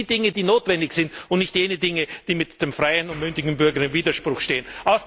Regeln Sie die Dinge, die notwendig sind, und nicht jene Dinge, die mit dem freien und mündigen Bürger in Widerspruch stehen.